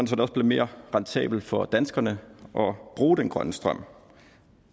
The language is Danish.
så det også bliver mere rentabelt for danskerne at bruge den grønne strøm